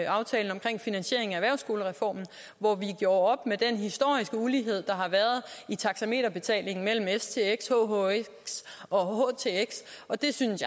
aftalen om finansiering af erhvervsskolereformen hvor vi gjorde op med den historiske ulighed der har været i taxameterbetalingen mellem stx hhx og htx det synes